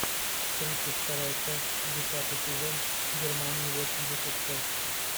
тридцать вторая часть десятый сезон германия восемьдесят шесть